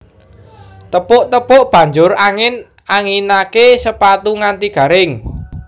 Tepuk tepuk banjur angin anginake sepatu nganti garing